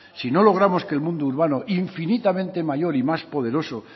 si no logramos que el mundo urbano infinitamente mayor y más poderoso